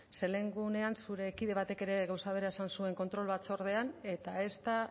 ze lehen egunean zure kide batek gauza bera esan zuen kontrol batzordean eta ez da